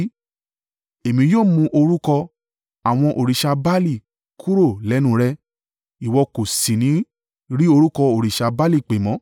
Èmi yóò mú orúkọ, àwọn òrìṣà Baali kúrò lẹ́nu rẹ̀; ìwọ kò sì ní rí orúkọ òrìṣà Baali pè mọ́.